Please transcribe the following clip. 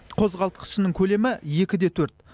қозғалтқышының көлемі екі де төрт